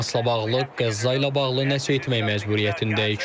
Həmasla bağlı, Qəzza ilə bağlı nəsə etmək məcburiyyətindəyik.